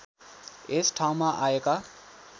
यस ठाउँमा आएका